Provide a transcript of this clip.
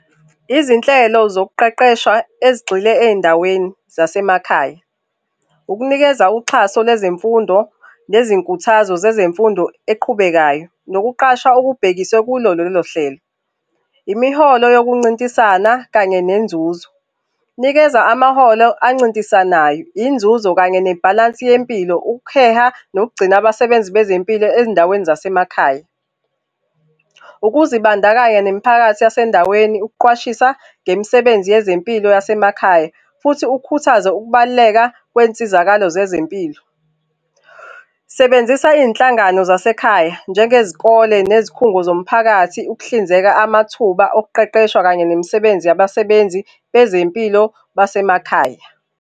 Izinhlelo zokuqeqesha ezigxila ezindaweni zasemakhaya, ukunikeza uxhaso lwezemfundo nezinkuthazo zezemfundo eqhubekayo nokuqasha okubhekiswe kulo lolohlelo, imihlolo yokuncintisana kanye nenzuzo. Nikeza amaholo ancintisanayo inzuzo kanye nebhalansi yempilo, ukuheha nokugcina abasebenzi bezempilo ezindaweni zasemakhaya. Ukuzibandakanya nemphakathi yasendaweni, ukuqwashisa ngemisebenzi yezempilo yasemakhaya. Futhi ukhuthaze ukubaluleka kwensizakalo zezempilo. Sebenzisa izinhlangano zasekhaya, njengezikole nezikhungo zomphakathi ukuhlinzeka amathuba okuqeqeshwa kanye nemisebenzi yabasebenzi bezempilo basemakhaya.